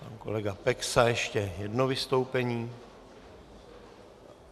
Pan kolega Peksa ještě jedno vystoupení.